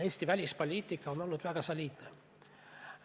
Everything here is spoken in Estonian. Eesti välispoliitika on olnud väga soliidne.